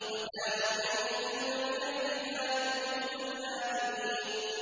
وَكَانُوا يَنْحِتُونَ مِنَ الْجِبَالِ بُيُوتًا آمِنِينَ